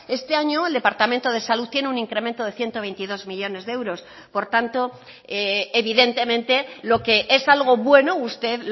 este año el departamento de salud tiene un incremento de ciento veintidós millónes de euros por tanto evidentemente lo que es algo bueno usted